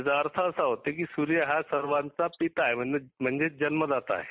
त्याचा अर्थ असा होतो की सुर्य हा सर्वांचा पिता आहे. म्हणजेच जन्मदाता आहे.